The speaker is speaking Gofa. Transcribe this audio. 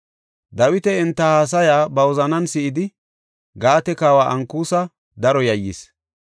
Dawiti enta haasaya ba wozanan si7idi, Gaate kawa Ankusa daro yayyis.